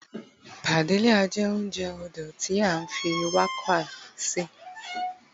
Padilla jé ounjẹ odò ti a fi warqa ṣe